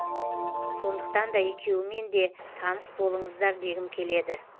сондықтанда екеуіменде таныс болыңыздар дегім келеді